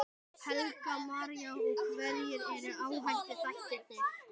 Helga María: Og hverjir eru áhættuþættirnir?